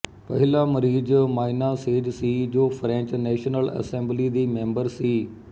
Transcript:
ਪਹਿਲਾ ਮਰੀਜ਼ Maina Sage ਸੀ ਜੋ ਫਰੈਂਚ ਨੈਸ਼ਨਲ ਅਸੈਂਬਲੀ ਦੀ ਮੈਂਬਰ ਸੀ